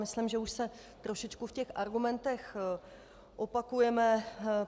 Myslím, že už se trochu v těch argumentech opakujeme.